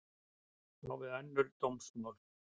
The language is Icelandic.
Á við önnur dómsmál